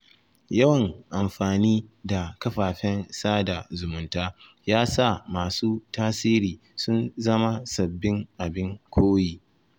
Yawan amfani da kafafen sada zumunta ya sa masu tasiri sun zama sabbin abin koyi.